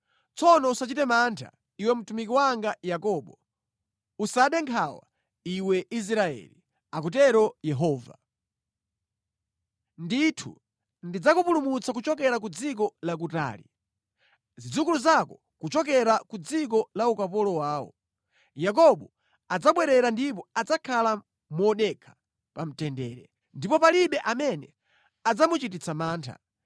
“ ‘Tsono usachite mantha, iwe mtumiki wanga Yakobo; usade nkhawa, iwe Israeli,’ akutero Yehova. ‘Ndithu ndidzakupulumutsa kuchokera ku dziko lakutali, zidzukulu zako kuchokera ku dziko la ukapolo wawo. Yakobo adzabwerera ndipo adzakhala modekha pa mtendere, ndipo palibe amene adzamuchititsa mantha.